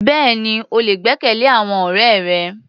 Bẹ́ẹ̀ni, o lè gbẹ́kẹ̀lé àwọn ọ̀rẹ́ rẹ.